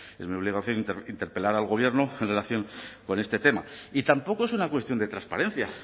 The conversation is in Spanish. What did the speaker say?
es mi obligación interpelar al gobierno en relación con este tema y tampoco es una cuestión de transparencia